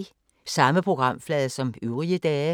Samme programflade som øvrige dage